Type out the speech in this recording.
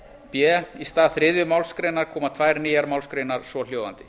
b í stað þriðju málsgrein koma tvær nýjar málsgreinar svohljóðandi